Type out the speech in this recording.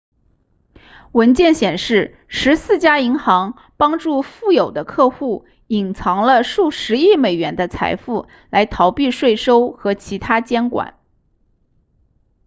文件显示十四家银行帮助富有的客户隐藏了数十亿美元的财富来逃避税收和其它监管